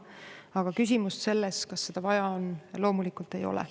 Aga küsimust selles, kas seda vaja on, loomulikult ei ole.